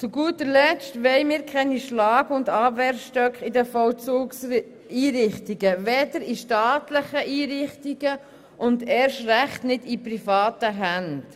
Zu guter Letzt wollen wir in den Vollzugseinrichtungen keine Schlag-und Abwehrstöcke, weder in staatlichen, noch – und das erst recht –, in privaten Einrichtungen.